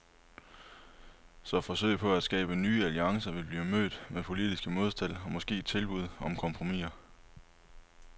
Så forsøg på at skabe nye alliancer vil blive mødt med politiske modspil og måske tilbud om kompromisser.